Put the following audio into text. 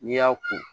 N'i y'a ko